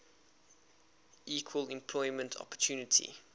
equal employment opportunity